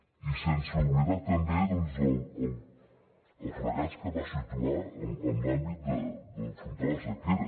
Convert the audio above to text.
i sense oblidar també el fracàs que va situar en l’àmbit d’afrontar la sequera